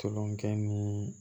Tolonkɛ ni